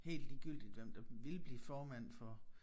Helt ligegyldigt hvem der ville blive formand for